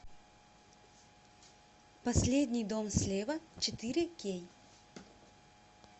последний дом слева четыре кей